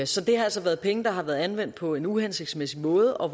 så det har altså været penge der har været anvendt på en uhensigtsmæssig måde og